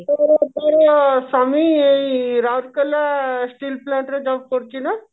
ତୋର ସ୍ଵାମୀ ଏଇ ରାଉରକେଲା steel plant ରେ job କରୁଛି ନା